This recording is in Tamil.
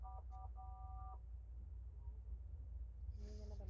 நீ என்ன பண்~